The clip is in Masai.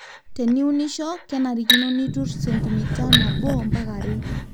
teniunisho kenarikino nitur sentimita nabo ampaka are